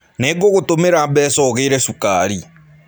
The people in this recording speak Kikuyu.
Nĩngũgũtũmĩra mbeca ũgũre cukari.